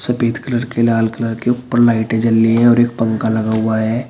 सफेद कलर के लाल कलर के ऊपर लाइटें जल रही हैं और एक पंखा लगा हुआ है।